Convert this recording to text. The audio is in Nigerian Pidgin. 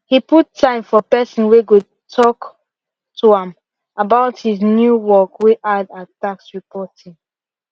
he put time for person way go talk to am about his new work way add at tax reporting